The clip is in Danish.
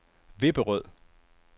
Vipperød